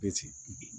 Be ci